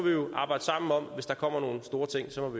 arbejde sammen om det hvis der kommer nogle store ting og så